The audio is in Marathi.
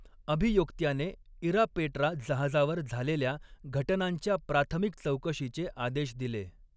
अभियोक्त्याने इरापेट्रा जहाजावर झालेल्या घटनांच्या प्राथमिक चौकशीचे आदेश दिले.